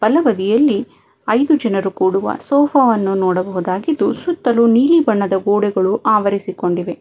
ಬಲಬದಿಯಲ್ಲಿ ಐದು ಜನರು ಕೂರುವ ಸೋಫ ವನ್ನು ನೋಡಬಹುದಾಗಿದ್ದು ಸುತ್ತಲು ನೀಲಿ ಬಣ್ಣದ ಗೋಡೆಗಳು ಆವರಿಸಿಕೊಂಡಿವೆ.